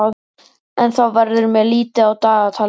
En þá verður mér litið á dagatalið.